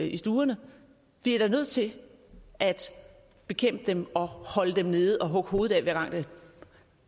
i stuerne vi er da nødt til at bekæmpe dem og holde dem nede og hugge hovedet af hver gang der